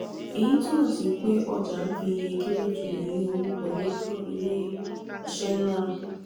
èyí túmọ̀ sí pé ọjà ń fi iye kéré ju iye owó wọlé fún ilé-iṣẹ́ náà.